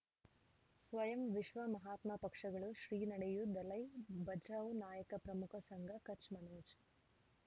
ಸ್ವಯಂ ವಿಶ್ವ ಮಹಾತ್ಮ ಪಕ್ಷಗಳು ಶ್ರೀ ನಡೆಯೂ ದಲೈ ಬಚೌ ನಾಯಕ ಪ್ರಮುಖ ಸಂಘ ಕಚ್ ಮನೋಜ್